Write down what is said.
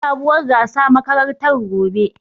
Za'a yi sabuwar gasa a makarantar gobe.